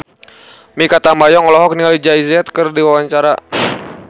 Mikha Tambayong olohok ningali Jay Z keur diwawancara